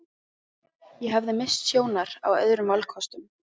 Ég hafði misst sjónar á öðrum valkostum.